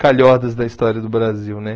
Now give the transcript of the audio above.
Calhordas da história do Brasil, né?